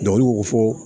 olu b'o fɔ